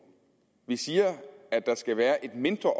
vi siger at der skal være et mindre